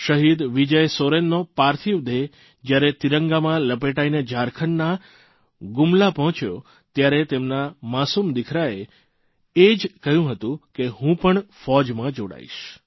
શહીદ વિજય સોરેનનો પાર્થિવ દેહ જયારે ત્રિરંગામાં લપેટાઇને ઝારખંડના ગુમલા પહોંચ્યો ત્યારે તેમના માસૂમ દિકરાએ એ જ કહ્યું હતું કે હું પણ ફોજમાં જોડાઇશ જ